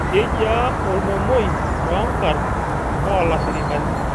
Kejia olmomoi too nkarn oo lafirikani